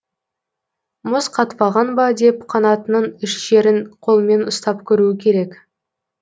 мұз қатпаған ба деп қанатының үш жерін қолмен ұстап көруі керек